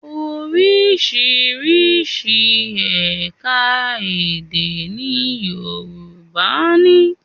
Oríṣiríṣi ẹ̀ka-èdè ni Yorùbá ní.